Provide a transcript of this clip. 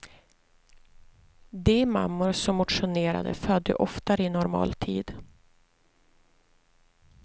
De mammor som motionerade födde oftare i normal tid.